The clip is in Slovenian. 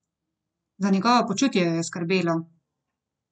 Za njegovo počutje jo je skrbelo!